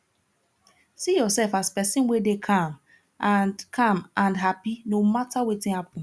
see urself as pesin wey dey calm and calm and hapi no mata wetin happen